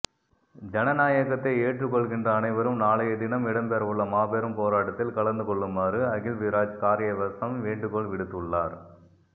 ஜனநாயகத்தை ஏற்றுக்கொள்கின்ற அனைவரும் நாளையதினம் இடம்பெறவுள்ள மாபெரும் போராட்டத்தில் கலந்துகொள்ளுமாறு அகிலவிராஜ் காரியவசம் வேண்டுகோள் விடுத்துள்ளார்